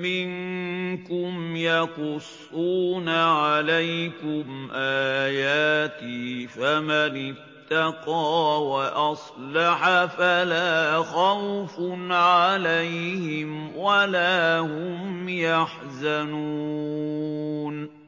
مِّنكُمْ يَقُصُّونَ عَلَيْكُمْ آيَاتِي ۙ فَمَنِ اتَّقَىٰ وَأَصْلَحَ فَلَا خَوْفٌ عَلَيْهِمْ وَلَا هُمْ يَحْزَنُونَ